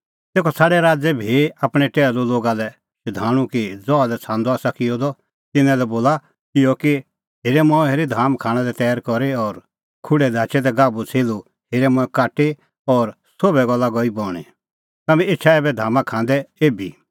तेखअ छ़ाडै राज़ै भी आपणैं टैहलू लोगा लै शधाणूं कि ज़हा लै छ़ांदअ आसा किअ द तिन्नां लै बोला इहअ कि हेरे मंऐं हेरी धाम खाणां लै तैर करी और खुढै धाचै दै गाभूछ़ेल्हू हेरै मंऐं काटी और सोभ गल्ला गई बणीं तम्हैं एछा ऐबै धामा खांदै एभी